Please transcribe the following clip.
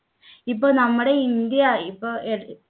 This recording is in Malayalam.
ഇപ്പൊ നമ്മുടെ ഇന്ത്യ ഇപ്പോ